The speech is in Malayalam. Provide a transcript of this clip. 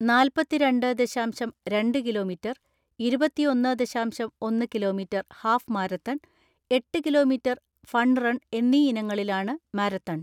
നാല്പത്തിരണ്ടേ ദശാംശം രണ്ട് കിലോമീറ്റർ, ഇരുപത്തിഒന്ന്‌ ദശാംശം ഒന്ന്‌ കിലോമീറ്റർ ഹാഫ് മാരത്തൺ, എട്ട് കിലോമീറ്റർ ഫൺ റൺ എന്നീ ഇനങ്ങളിലാണ് മാരത്തൺ.